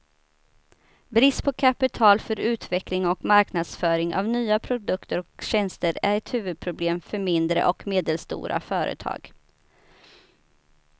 Brist på kapital för utveckling och marknadsföring av nya produkter och tjänster är ett huvudproblem för mindre och medelstora företag.